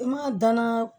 I ma danan